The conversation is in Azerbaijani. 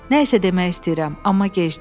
Nəysə demək istəyirəm, amma gecdir.